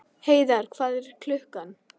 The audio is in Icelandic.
Heiðar, hvað er klukkan?